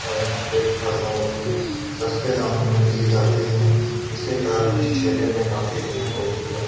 और यहाँ पे फल बहुत ही सस्ते दामों में दिए जाते हैं जिसके कारण इस ठेले में काफी भीड़ होती है।